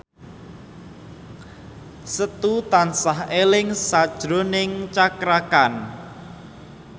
Setu tansah eling sakjroning Cakra Khan